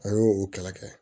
A y'o kɛlɛ kɛ